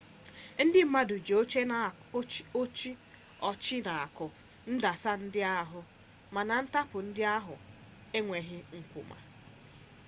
ndị mmadụ ji oche na-akụ ndasị ndị ahụ mana ntapu ndị ahụ ekweghi nkụwa